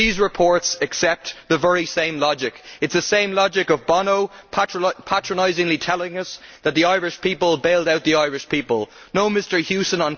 These reports accept the very same logic. It is the same logic of Bono, patronisingly telling us that the Irish people bailed out the Irish people. No, Mr Hewson.